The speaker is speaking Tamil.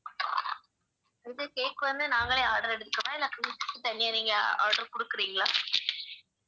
இது cake வந்து நாங்களே order எடுக்கவா இல்ல தனியா நீங்க order குடுக்கிறீங்களா